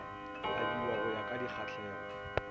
abiwa go ya ka dikgahlego